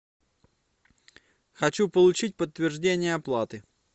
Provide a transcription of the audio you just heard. хочу получить подтверждение оплаты